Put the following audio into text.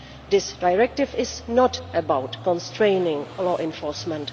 This directive is not about constraining law enforcement.